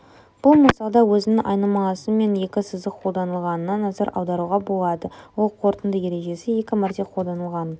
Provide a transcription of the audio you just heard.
бұл мысалда өзінің айнымалысы мен екі сызық қолданылғанына назар аударуға болады ол қорытынды ережесі екі мәрте қолданылғанын